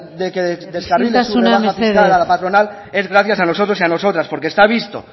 de isiltasuna mesedez rebaja fiscal a la patronal es gracias a nosotros y a nosotras porque se ha visto